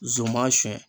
Zon ma sɛn